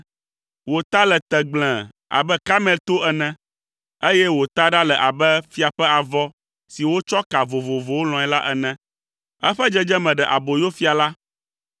Wò ta le tegblẽe abe Karmel to ene, eye wò taɖa le abe fia ƒe avɔ si wotsɔ ka vovovowo lɔ̃e la ene. Eƒe dzedzeme ɖe aboyo fia la.